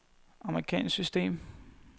amerikansk system